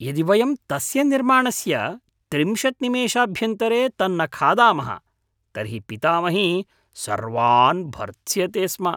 यदि वयं तस्य निर्माणस्य त्रिंशत् निमेषभ्यन्तरे तन्न खादामः तर्हि पितामही सर्वान् भर्त्स्यते स्म।